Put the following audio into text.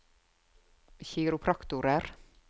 kiropraktorer